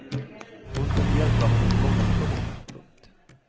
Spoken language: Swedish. Hon kunde hjälpa honom i många situationer. punkt